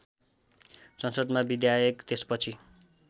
संसदमा विधायक त्यसपछि